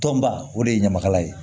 Tɔnba o de ye ɲamakalaya ye